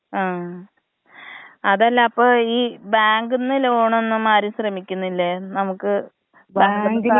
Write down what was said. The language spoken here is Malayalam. ആ, അതല്ല അപ്പ ഈ ബാങ്ക്ന്ന് ലോണൊന്നും ആരും ശ്രമിക്കുന്നില്ലേ നമുക്ക് *നോട്ട്‌ ക്ലിയർ*.